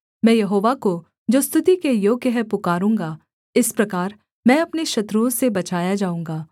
मैं यहोवा को जो स्तुति के योग्य है पुकारूँगा इस प्रकार मैं अपने शत्रुओं से बचाया जाऊँगा